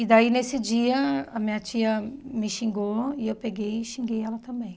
E daí, nesse dia, a minha tia me xingou e eu peguei e xinguei ela também.